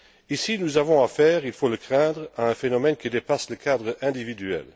Ici, nous avons à faire, il faut le craindre, à un phénomène qui dépasse le cadre individuel.